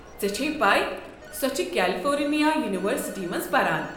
ژےٚ چھیٚیہِ پیہ سۄ چھےٚ کٮ۪لفورنیا یونورسٹی منٛز پران ۔